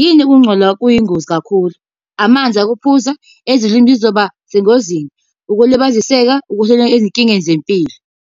Yini ukungcola kuyingozi kakhulu? Amanzi okuphuza, ezolimo zizoba sengozini. Ukulibaziseka ezinkingeni zempilo.